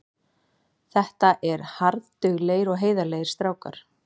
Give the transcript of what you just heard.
Þetta er harðduglegir og heiðarlegir strákar.